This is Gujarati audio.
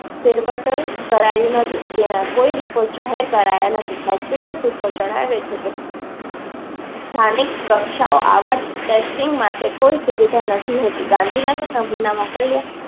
કરાયો નથી. તેના કોઈ report જાહેર કરાયા નથી ને hospital. સૂત્ર જણાવે છે કે સ્થાનિક કક્ષાઓ આવા testing માટે કોઈ સુવિધા નથી હોતી. ગાંધીનગર નમૂના મોકલ્યા